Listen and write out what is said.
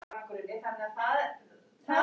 Hvað á að virkja og hvað á að friða?